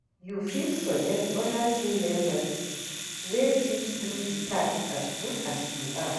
You fit suggest oda team members wey fit do di task as good as you are